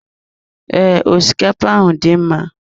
Ee, osikapa ahụ dị mma.